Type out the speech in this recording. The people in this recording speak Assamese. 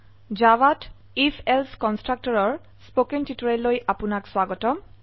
জাভাত আইএফ এলছে কনস্ট্ৰাকটৰৰ স্পকেন টিউটোৰিয়েললৈ আপোনাক স্বাগতম